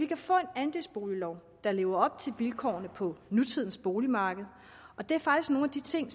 kan få en andelsboliglov der lever op til vilkårene på nutidens boligmarked det er faktisk nogle af de ting